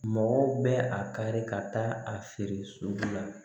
Mɔgɔw bɛ a kari ka taa a feere sugu la